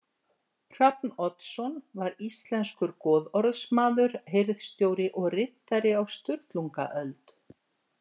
Hrafn Oddsson var íslenskur goðorðsmaður, hirðstjóri og riddari á Sturlungaöld.